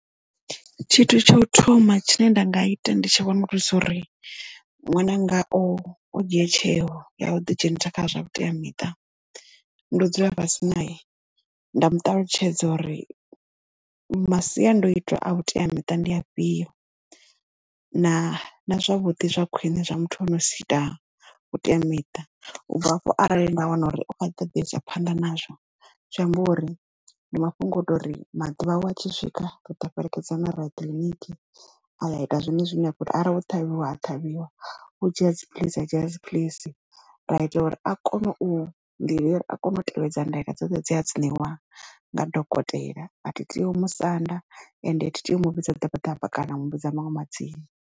Tshithu tsha u thoma tshine nda nga ita ndi tshi wanulisa uri ṅwana nga o dzhia tsheo ya u ḓi dzhenisa kha zwa vhuteamiṱa, ndiu dzula vhasinaye nda mu ṱalutshedza uri masiandoitwa a vhuteamiṱa ndi afhio na zwavhuḓi zwa khwine zwa muthu ano sisiṱa vhuteamiṱa u bva hafho arali nda wana uri o kha ḓi ṱoḓa u isa phanḓa nazwo zwi amba uri ndi mafhungo o tori maḓuvha awe a tshi swika ri ḓo fhelekedzana ra kiliniki a ita zwone zwine a kho ita ro ṱhavhiwa a ṱhavhiwa hu dzhia dziphilisi a dzhia dziphilisi uri a kone u tevhedza ndaela dzoṱhe dzi a ṋewa nga dokotela a thi tea u musanda ende tea u muvhidza ḓabaḓaba kana muvhidza maṅwe madzina.